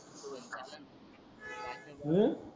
तु उन चालण त्याचा भाऊ हम्म